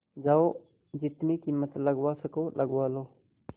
जाओ जितनी कीमत लगवा सको लगवा लो